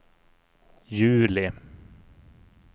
juli